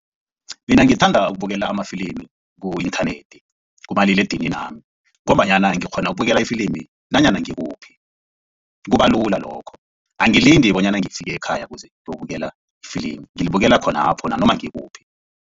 Mina ngithanda ukubukela amafilimi ku-inthanethi kumaliledininami ngombanyana ngikghona ukubukela ifilimi nanyana ngikuphi kubalula lokho angilindi bonyana ngifike ekhaya kuze ngiyokubukela ifilimi ngilibukela khonapho nanoma ngikuphi.